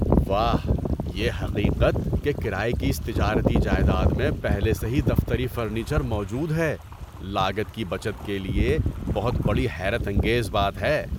واہ! یہ حقیقت کہ کرایے کی اس تجارتی جائیداد میں پہلے سے ہی دفتری فرنیچر موجود ہے، لاگت کی بچت کے لیے بہت بڑی حیرت انگیز بات ہے۔